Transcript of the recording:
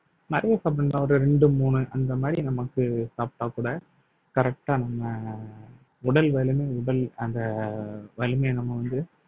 நிறைய சாப்பிடலாம் ஒரு இரண்டு மூணு அந்த மாதிரி நமக்கு சாப்பிட்டால் கூட correct அ நம்ம உடல் வலிமை உடல் அந்த வலிமையை நம்ம வந்து